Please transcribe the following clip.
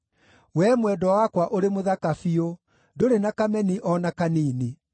Wee mwendwa wakwa ũrĩ mũthaka biũ; ndũrĩ na kameni o na kanini.